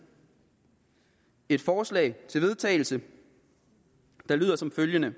et forslag til vedtagelse der lyder som følger